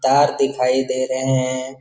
तार दिखाई दे रहे हैं।